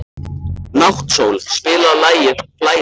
Náttsól, spilaðu lagið „Flæði“.